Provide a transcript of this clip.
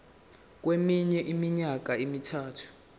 kweminye iminyaka emithathu